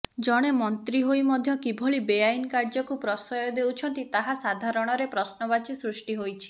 ଜଣେ ମନ୍ତ୍ରୀ ହୋଇ ମଧ୍ୟ କିଭଳି ବେଆଇନ କାର୍ଯ୍ୟକୁ ପ୍ରଶୟ ଦେଉଛନ୍ତି ତାହା ସାଧାରଣରେ ପ୍ରଶ୍ନବାଚୀ ସୃଷ୍ଟି ହୋଇଛି